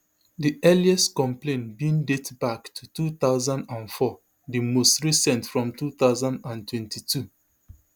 di earliest complaint bin date back to two thousand and four di most recent from two thousand and twenty-two